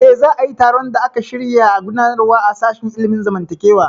Eh, za a yi taron da aka shirya gudanarwa a sashen ilimin zamantakewa